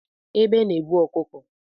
Egbe na ebu ọkụkọ